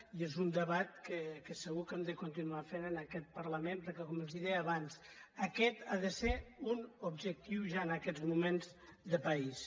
i és un debat que segur que hem de continuar fent en aquest parlament perquè com els deia abans aquest ha de ser un objectiu ja en aquests moments de país